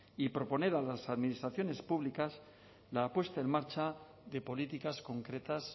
y proponer a las administraciones públicas la puesta en marcha de políticas concretas